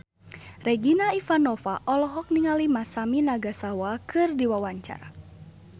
Regina Ivanova olohok ningali Masami Nagasawa keur diwawancara